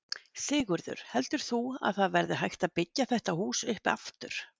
Sigurður: Heldur þú að það verði hægt að byggja þetta hús upp aftur?